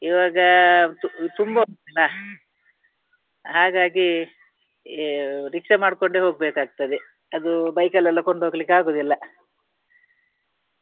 ಈವಾಗ ತು~ ತುಂಬಾ ಉಂಟಲ್ಲ ಹಾಗಾಗಿ rickshaw ಮಾಡ್ಕೊಂಡೇ ಹೋಗ್ಬೇಕಾಗ್ತದೆ. ಅದು bike ಲ್ಲಿ ಎಲ್ಲ ಕೊಂಡು ಹೋಗ್ಲಿಕ್ಕೆ ಆಗುವುದಿಲ್ಲ.